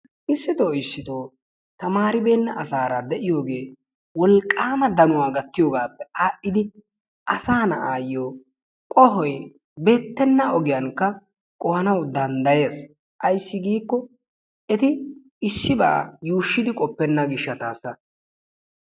issitoo issitoo tamaribeenna asaara de'iyoge wolqaama danuwa gattiyogaappe adhidi asaa na'aayo qohoy beetenna ogiyanka qohanawu danddayees, ayssi giiko eti isibaa yuushidi qopenna gishataasa.